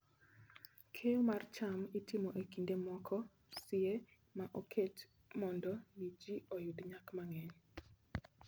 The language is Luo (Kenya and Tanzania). Keyo mar cham itimo e kinde moko sie ma oket mondo mi ji oyud nyak mang'eny.